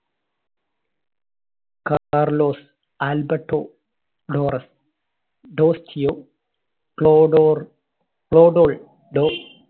കാ~കാർലോസ്, Alberto Torres, Tostao, ക്ലോഡോർ, ക്ലോഡോൾ